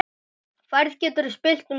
Færð getur spillst um tíma.